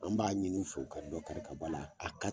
An b'a ɲin'u fɛ u ka bɔ karata bɔ la